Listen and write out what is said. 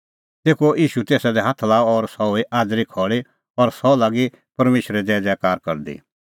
तेखअ ईशू तेसा दी हाथ लाअ और सह हुई आज़री खल़ी और सह लागी परमेशरे ज़ैज़ैकार करदी